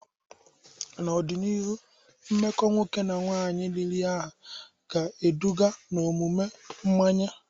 N'ọdịnihu, mmekọ nwoke na nwaanyị riri ahụ ga-eduga n'omume mmanye.